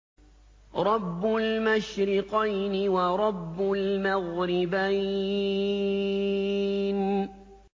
رَبُّ الْمَشْرِقَيْنِ وَرَبُّ الْمَغْرِبَيْنِ